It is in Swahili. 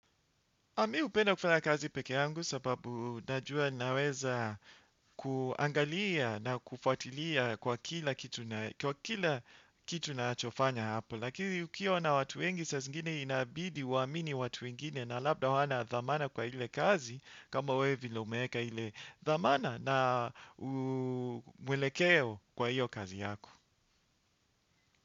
Mimi hupenda kufanya kazi pekee yangu sababu najua naweza kuangalia na kufuatilia kwa kila kitu kitu nachofanya hapo. Lakini ukiwa na watu wengi saa zingine inabidi uamini watu wengine na labda hawana dhamana kwa ile kazi kama wewe vile umeeka ile dhamana na mwelekeo kwa hiyo kazi yako.